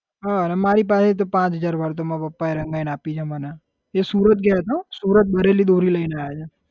હા મારી પાસે તો પાંચ હજાર વાર માર પપ્પા એ રંગાઈ ને આપી છે મને સુરત ગયા છે હો સુરત ભરેલી દોરી લઇ ને આવ્યા છે.